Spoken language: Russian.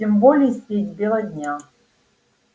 тем более средь бела дня